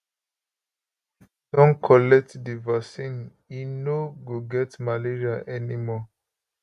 [my son] don collect di vaccine e no go get malaria anymore